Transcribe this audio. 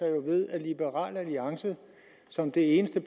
liberal alliance som det eneste